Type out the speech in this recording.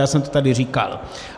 Já jsem to tady říkal.